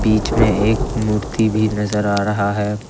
बीच में एक मूर्ति भी नजर आ रहा है।